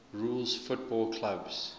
rules football clubs